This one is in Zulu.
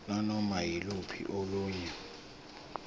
nanoma yiluphi olunye